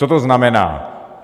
Co to znamená?